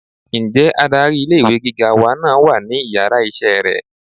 nje adarí ilé ìwé gíga wa náà wà ní iyàrá iṣẹ rẹ?